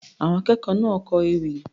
Àwọn akẹ́kọ̀ọ́ náà kọ ewì.